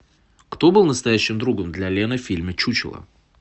кто был настоящим другом для лены в фильме чучело